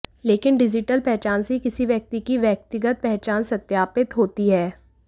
लेकिन डिजिटल पहचान से ही किसी व्यक्ति की व्यक्तिगत पहचान सत्यापित होती है